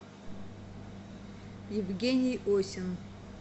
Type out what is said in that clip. евгений осин